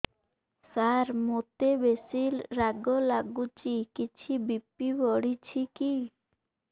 ସାର ମୋତେ ବେସି ରାଗ ଲାଗୁଚି କିଛି ବି.ପି ବଢ଼ିଚି କି